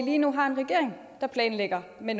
lige nu en regering der planlægger med